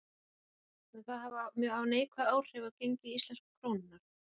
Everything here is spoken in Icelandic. Þorbjörn: Mun það hafa mjög neikvæð áhrif á gengi íslensku krónunnar?